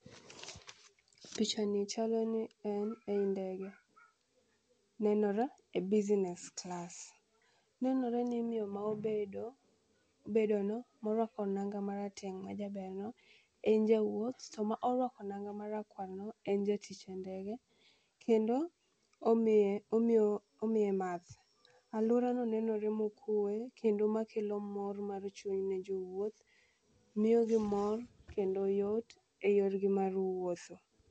Pichani chalo ni en ei ndege, nenore e business class. Nenore ni miyo ma obedono ma orwako nanga marateng' majaberno en jawuoth to morwako nanga marakwarno en jatich e ndege kendo omiye math. Alworano nenore mokwee kendo makelo mor mar chuny ne jowuoth, miyogi mor kendo yot e yorgi mar wuotho.